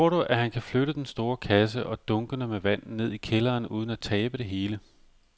Tror du, at han kan flytte den store kasse og dunkene med vand ned i kælderen uden at tabe det hele?